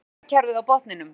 Bankakerfið á botninum